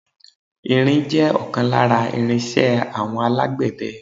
Irin jẹ́ ọ̀kan lára irin iṣẹ́ àwọn alágbẹ̀dẹ.